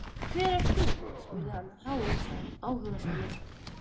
Hver ert þú? spurði hann áhugasamur.